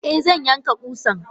Eh zan yanka kusan.